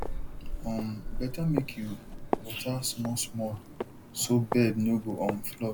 um better make you water smallsmall so bed no um go flood